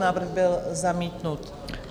Návrh byl zamítnut.